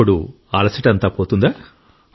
అప్పుడు అలసట అంతా పోతుందా